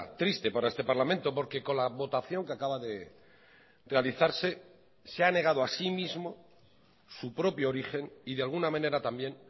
triste para este parlamento porque con la votación que acaba de realizarse se ha negado a sí mismo su propio origen y de alguna manera también